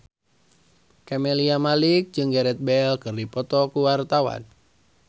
Camelia Malik jeung Gareth Bale keur dipoto ku wartawan